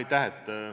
Aitäh!